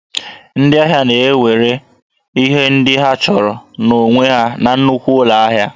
Ndị ahịa na-ewere ihe ndị ha chọrọ n'onwe ha na nnukwu ụlọ ahịa